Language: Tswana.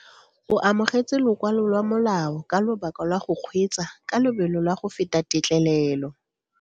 O amogetse lokwalo lwa molao ka lobaka lwa go kgweetsa ka lobelo la go feta tetlelelo.